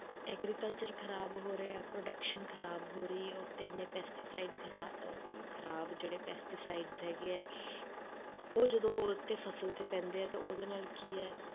Agriculture ਖ਼ਰਾਬ ਹੋ ਰਿਹਾ ਹੈ, production ਖ਼ਰਾਬ ਹੋ ਰਹੀ ਹੈ, ਉਹ ਤੇ ਇੰਨੇ pesticide ਖ਼ਰਾ~ ਅਹ ਖ਼ਰਾਬ ਜਿਹੜੇ pesticides ਹੈਗੇ ਆ ਉਹ ਜਦੋਂ ਉਹ ਤੇ ਫਸਲ ਤੇ ਪੈਂਦੇ ਹੈ ਤੇ ਉਹਦੇ ਨਾਲ ਕੀ ਹੈ,